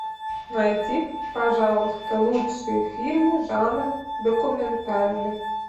найди пожалуйста лучшие фильмы жанра документальный